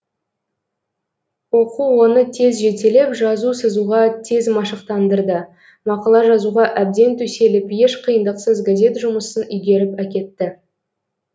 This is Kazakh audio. оқу оны тез жетелеп жазу сызуға тез машықтандырды мақала жазуға әбден төселіп еш қиындықсыз газет жұмысын игеріп әкетті